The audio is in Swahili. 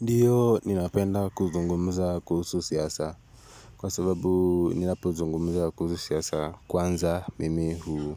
Ndiyo ninapenda kuzungumza kuhusu siasa kwa sababu ninapo zungumza kuhusu siasa kwanza mimi huu